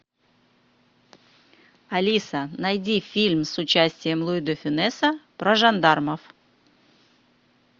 алиса найди фильм с участием луи де фюнеса про жандармов